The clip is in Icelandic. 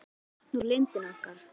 Nú fá þau vatn úr lindinni okkar.